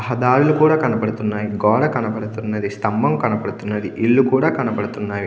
దారులు కూడా కనబడుతున్నాయి. గోడ కనబడుతుంది స్తంభం కనబడుతుంది. ఇల్లు కూడా కనబడుతుంది.